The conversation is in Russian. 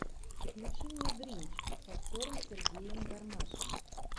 включи мне гринч с актером сергеем гармашем